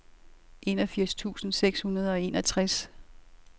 enogfirs tusind seks hundrede og enogtres